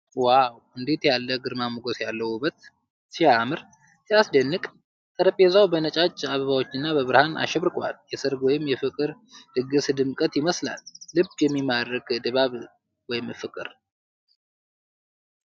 ዋው! እንዴት ያለ ግርማ ሞገስ ያለው ውበት! ሲያምር፣ ሲያስደንቅ! ጠረጴዛው በነጫጭ አበባዎችና በብርሃን አሸብርቋል። የሠርግ ወይም የፍቅር ድግስ ድምቀት ይመስላል። ልብ የሚማርክ ድባብ! ፍቅር!